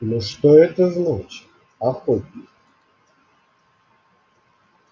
но что это значит охотник